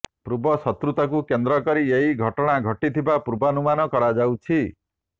ପୂର୍ବଶତ୍ରୁତାକୁ କେନ୍ଦ୍ର କରି ଏହି ଘଟଣା ଘଟିଥିବା ପୂର୍ବାନୁମାନ କରାଯାଉଛି